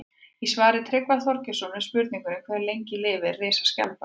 Í svari Tryggva Þorgeirssonar við spurningunni Hve lengi lifir risaskjaldbakan?